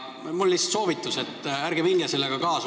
Mul on lihtsalt soovitus, et ärge minge sellega kaasa.